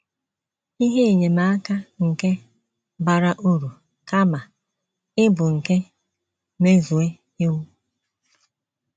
Ihe Enyemaka nke “ Bara Uru Kama Ịbụ nke Mmezu Iwu ”